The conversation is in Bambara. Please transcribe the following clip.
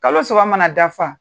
Kalo saba mana dafa.